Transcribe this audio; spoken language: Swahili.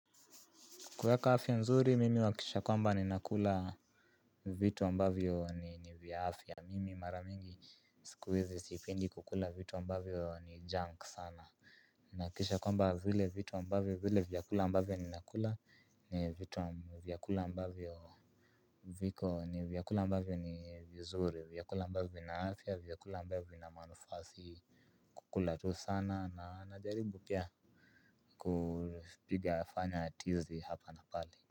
Kuweka afya nzuri, mimi nahakikisha kwamba ninakula. Vitu ambavyo ni vya afya mimi mara nyingi siku hizi sipendi kukula vitu ambavyo ni junk sana. Nahakikisha kwamba vile vitu ambavyo vile vyakula ambavyo ninakula ni vitu ambavyo viko ni vyakula ambavyo ni vizuri, vyakula ambavyo vina afya vyakula ambavyo vina manufaa kukula tu sana na najaribu pia kupiga fanya tizi hapa na pale.